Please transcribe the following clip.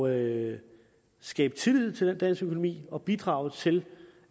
at skabe tillid til den danske økonomi og bidrage til